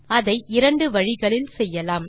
அதை இரண்டு வழிகளில் செய்யலாம்